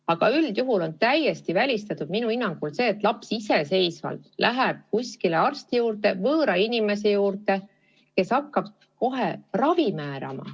Aga üldjuhul on minu hinnangul täiesti välistatud see, et laps iseseisvalt läheb kuskile arsti juurde, võõra inimese juurde, kes hakkab talle kohe ravi määrama.